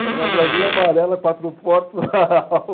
Era uma Brasília amarela, quatro portas a álcool.